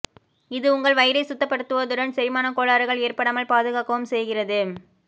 இது உங்கள் வயிறை சுத்தப்படுத்துவதுடன் செரிமான கோளாறுகள் ஏற்படாமல் பாதுகாக்கவும் செய்கிறது